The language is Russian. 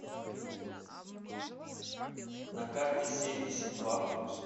на карте семьдесят два плюс